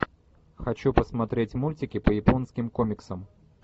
хочу посмотреть мультики по японским комиксам